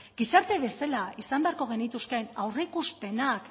gizarte bezala izan behar genituzkeen aurreikuspenak